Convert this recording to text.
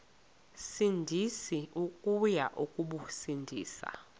sindisi uya kubasindisa